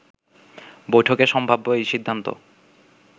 বৈঠকে সম্ভব্য এ সিদ্ধান্ত